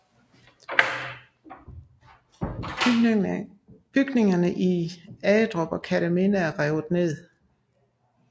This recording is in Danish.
Bygningerne i Agedrup og Kerteminde er revet ned